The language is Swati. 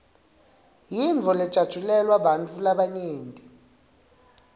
yintfo lejatjulelwa bantfu labanyenti